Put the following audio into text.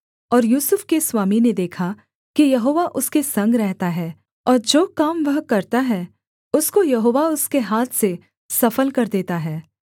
और यूसुफ के स्वामी ने देखा कि यहोवा उसके संग रहता है और जो काम वह करता है उसको यहोवा उसके हाथ से सफल कर देता है